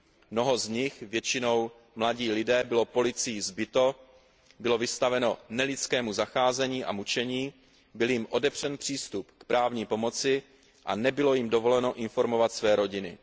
Mnoho z nich, většinou mladí lidé, bylo policií zbito, bylo vystaveno nelidskému zacházení a mučení, byl jim odepřen přístup k právní pomoci a nebylo jim dovoleno informovat své rodiny.